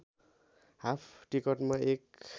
half टिकटमा एक